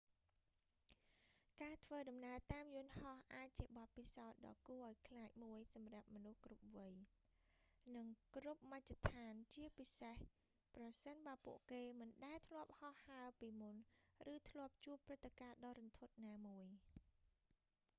ការធ្វើដំណើរតាមយន្ដហោះអាចជាបទពិសោធន៍ដ៏គួរឱ្យខ្លាចមួយសម្រាប់មនុស្សគ្រប់វ័យ និងគ្រប់មជ្ឈដ្ឋាន ជាពិសេស ប្រសិនបើពួកគេមិនដែលធ្លាប់ហោះហើរពីមុន ឬធ្លាប់ជួបព្រឹត្តិការណ៍ដ៏រន្ធត់ណាមួយ